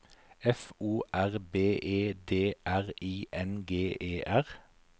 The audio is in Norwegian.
F O R B E D R I N G E R